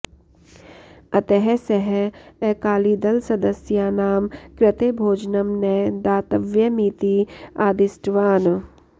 अतः सः अकालीदलसदस्यानां कृते भोजनं न दातव्यमिति आदिष्टवान्